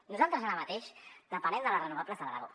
nosaltres ara mateix depenem de les renovables de l’aragó